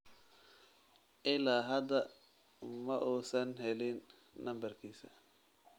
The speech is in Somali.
Ilaa hadda ma uusan helin nambarkiisa